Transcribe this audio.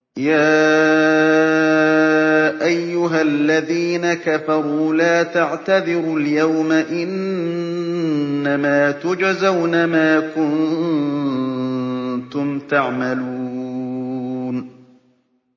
يَا أَيُّهَا الَّذِينَ كَفَرُوا لَا تَعْتَذِرُوا الْيَوْمَ ۖ إِنَّمَا تُجْزَوْنَ مَا كُنتُمْ تَعْمَلُونَ